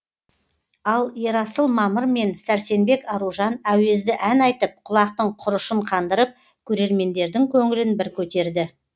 ал ерасыл мамыр мен сәрсенбек аружан әуезді ән айтып құлақтың құрышын қандырып көрермендердің көңілін бір көтерді